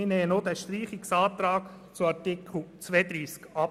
Auch den Streichungsantrag zu Artikel 32 lehnen wir ab.